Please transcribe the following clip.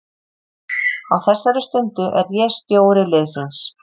Á þessari stundu er ég stjóri liðsins.